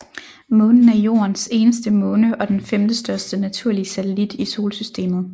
Månen er Jordens eneste måne og den femtestørste naturlige satellit i solsystemet